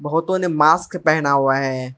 बहुतों ने मास्क पहना हुआ है।